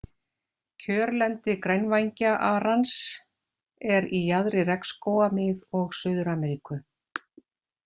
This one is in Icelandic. Kjörlendi grænvængja-arans er í jaðri regnskóga Mið- og Suður-Ameríku.